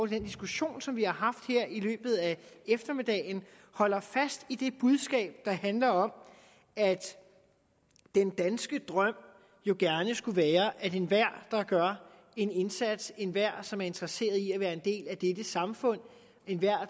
den diskussion som vi har haft her i løbet af eftermiddagen holder fast i det budskab der handler om at den danske drøm jo gerne skulle være at enhver der gør en indsats enhver som er interesseret i at være en del af dette samfund enhver